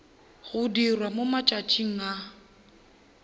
go dirwa mo matšatšing a